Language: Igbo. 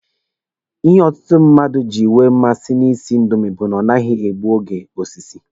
Ihe ọtụtụ ndị mmadụ ji enwe mmasị na ị sị indomi bụ na ọ naghị egbu oge osisi.